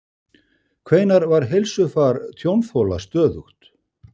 Hvenær var heilsufar tjónþola stöðugt?